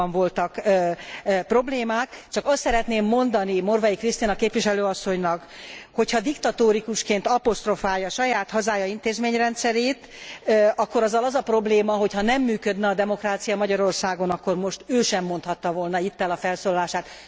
Valóban voltak problémák, csak azt szeretném mondani Morvai Krisztina képviselő asszonynak, hogy ha diktatórikusként aposztrofálja saját hazája intézményrendszerét, akkor azzal az a probléma, hogy ha nem működne a demokrácia Magyarországon, akkor most ő sem mondhatta volna itt el a felszólalását.